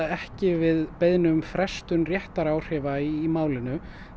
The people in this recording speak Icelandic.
ekki við beiðni um frestun réttaráhrifa í málinu